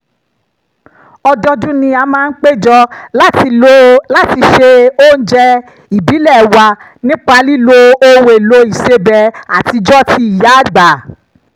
ọdọọdún ni a máa ń péjọ láti se oúnjẹ ìbílẹ̀ wa nípa lílo ohun-èlò ìsebẹ̀ àtijọ́ ti ìyáàgbà